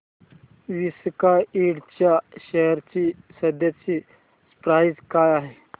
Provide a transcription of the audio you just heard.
Visaka Ind च्या share ची सध्याची प्राइस काय आहे